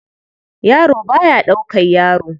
Yaro ba ya ɗaukar yaro.